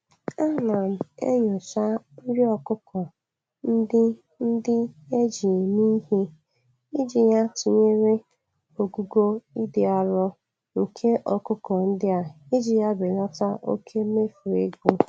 Ana m enyocha nri okụkọ ndị ndị eji mee ihe, iji ya tụnyere ogugo ịdị arọ nke ọkụkọ ndị a iji ya belata oke mmefu ego.